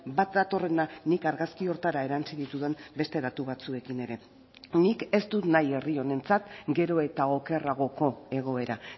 bat datorrena nik argazki horretara erantzi ditudan beste datu batzuekin ere nik ez dut nahi herri honentzat gero eta okerragoko egoera